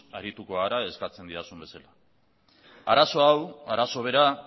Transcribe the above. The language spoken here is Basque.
arituko gara eskatu didazun bezala arazo hau arazo bera